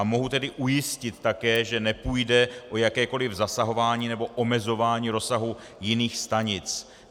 A mohu tedy ujistit také, že nepůjde o jakékoli zasahování nebo omezování rozsahu jiných stanic.